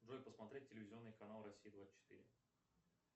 джой посмотреть телевизионный канал россия двадцать четыре